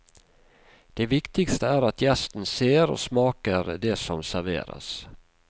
Det viktigste er at gjesten ser og smaker det som serveres.